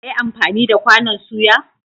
Za ka yi amfani da kwanon soya?